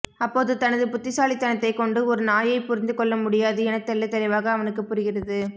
அப்போது தனது புத்திசாலித்தனத்தைக் கொண்டு ஒரு நாயை புரிந்து கொள்ளமுடியாது எனத் தெள்ளத்தெளிவாக அவனுக்குப் புரிகிறது